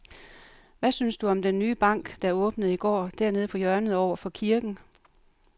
Hvad synes du om den nye bank, der åbnede i går dernede på hjørnet over for kirken?